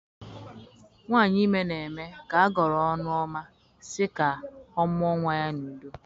Nwanyị ime nwa n'eme ka agọrọ ọnụ ọma sị ka ọ mụọ nwa ya n'udo